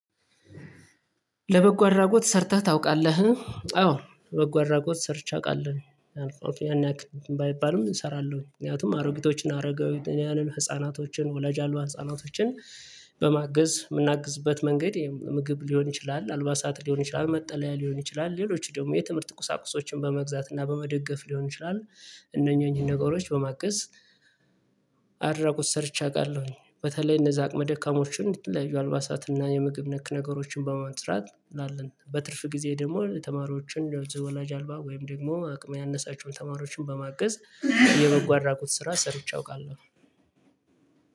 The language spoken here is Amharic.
ለበጎ አድራጎት ሰርተህ ታውቃለህ? አዎ በጎ አድራጎት ሰርቼ አውቃለሁ አልፎ አልፎ ያን ያክል ባይባልም እሰራለሁ ምክንያቱም አሮጊቶችን፣ አረጋዊውን ህፃናቶችን ወላጅ አልባ ህፃናቶችን በማገዝ የምናግዝበት መንገድ ምግብ ሊሆን ይችላል አልባሳት ሊሆን ይችላል፣ መጠለያ ሊሆን ይችላል፣ ሌሎች ደግሞ የትምህርት ቁሳቁሶችን በመግዛት እና በመደገፍ ሊሆን ይችላል። እነኚህን ነገሮች በማገዝ። ሰርቼ አውቃለሁኝ በተለይ እነዛ አቅመ ደካማዎችን የተለያዩ አልባሳትና የምግብ ነክ ነገሮችን በማጥራት እናለን በትርፍ ጊዜ ደግሞ ተማሪዎችን የወላጅ አልባ ወይም ደግሞ አቅም ያነሳቸውን ተማሪዎችን በማገዝ። የበጎ አድራጎት ስራ ሰርቼ አውቃለሁ።